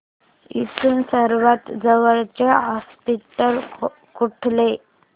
इथून सर्वांत जवळचे हॉस्पिटल कुठले